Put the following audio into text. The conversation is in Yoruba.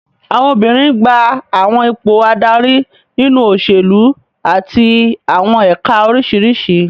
Àwọn obìnrin n gba àwọn ipò adarí nínú òṣèlú àti àwọn ẹ̀ka oríṣiríṣi